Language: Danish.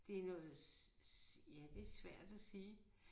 Det noget ja det svært at sige